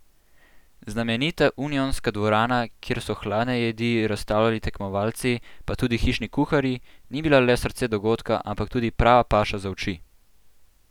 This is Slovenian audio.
Znamenita Unionska dvorana, kjer so hladne jedi razstavljali tekmovalci pa tudi hišni kuharji, ni bila le srce dogodka, ampak tudi prava paša za oči!